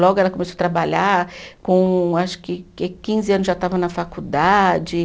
Logo ela começou trabalhar, com acho que que quinze anos já estava na faculdade.